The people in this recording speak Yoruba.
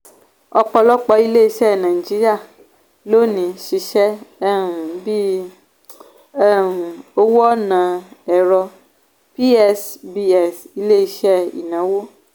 ọ̀pọ̀lọpọ̀ ilé-iṣẹ́ nàìjíríà lónìí ṣiṣẹ́ um bí um owó ọ̀nà ẹ̀rọ psbs ilé-iṣẹ́ um ìnáwó.